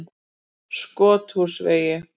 Skothúsvegi